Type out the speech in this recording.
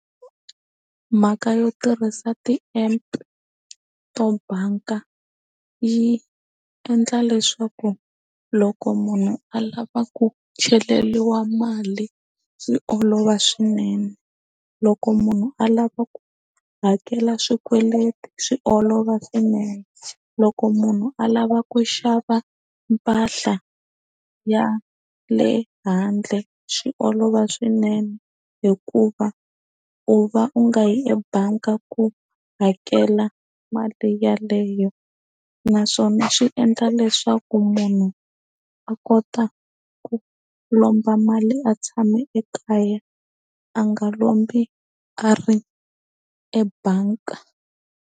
Mhaka yo tirhisa ti-app to banka yi endla leswaku loko munhu a lava ku cheleriwa mali swi olova swinene loko munhu a lava ku hakela swikweleti swi olova swinene loko munhu alava ku xava mpahla ya le handle swi olova swinene hikuva u va u nga yi ebangi ku hakela mali yeleyo naswona swi endla leswaku munhu a kota ku lomba mali a tshame ekaya a nga lombi a ri ebank.